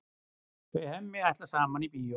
Þau Hemmi ætla saman í bíó.